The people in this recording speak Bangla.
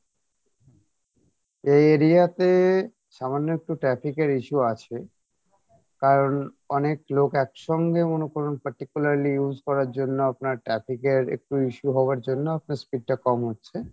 এই area তে সামান্য একটু traffic এর issue আছে কারণ অনেক লোক একসঙ্গে মনে করুণ particularly use করার জন্য আপনার traffic এর একটু issue হওয়ার জন্য আপনার speed টা কম হচ্ছে